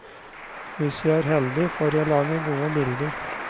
Hvis jeg er heldig, får jeg til å lage gode bilder.